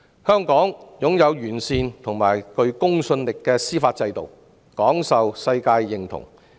香港擁有完善及具公信力的司法制度，廣受世界認同。